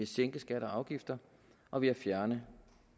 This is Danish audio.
sænke skatter og afgifter og ved at fjerne